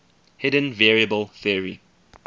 hidden variable theory